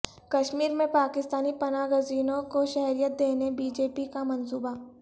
کشمیر میں پاکستانی پناہ گزینوں کو شہریت دینے بی جے پی کا منصوبہ